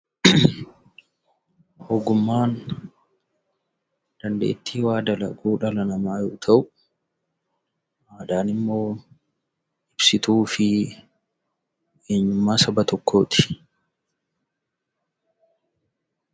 Ogummaan dandeetti wanta tokko dalaguu dhala namaa yoo ta'uu; aadaan immoo ibsituu fi eenyummaa Saba tokkooti.